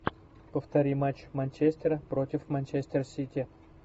повтори матч манчестера против манчестер сити